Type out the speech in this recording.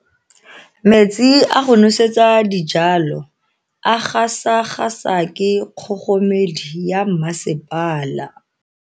Metsi a go nosetsa dijalo a gasa gasa ke kgogomedi ya masepala.